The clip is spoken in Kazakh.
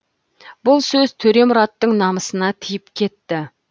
бұл сөз төремұраттың намысына тиіп кетті